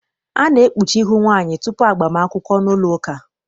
A na-ekpuchi ihu nwaanyị tutu agbam akwụkwọ n'ụlọụka.